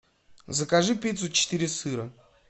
закажи пиццу четыре сыра